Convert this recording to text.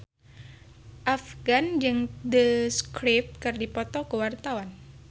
Afgan jeung The Script keur dipoto ku wartawan